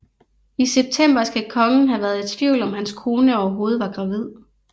I september skal kongen have været i tvivl om hans kone overhovedet var gravid